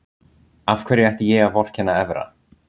Af hverju ætti ég að vorkenna Evra?